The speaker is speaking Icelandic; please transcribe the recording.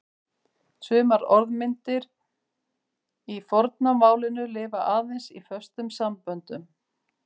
Sumar orðmyndir í forna málinu lifa aðeins í föstum samböndum.